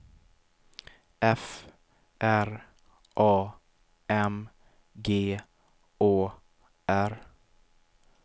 F R A M G Å R